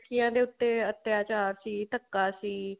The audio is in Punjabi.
ਕੁੜੀਆਂ ਤੇ ਉੱਤੇ ਅੱਤਿਆਚਾਰ ਸੀ ਧੱਕਾ ਸੀ